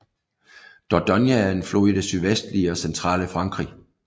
Dordogne er en flod i det sydvestlige og centrale Frankrig